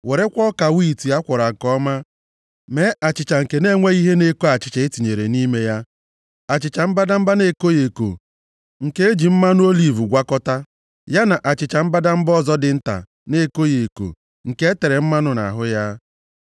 Werekwa ọka wiiti a kwọrọ nke ọma, mee achịcha nke na-enweghị ihe na-eko achịcha e tinyere nʼime ha, achịcha mbadamba na-ekoghị eko nke e ji mmanụ oliv gwakọtaa, ya na achịcha mbadamba ọzọ dị nta na-ekoghị eko nke e tere mmanụ nʼahụ ya.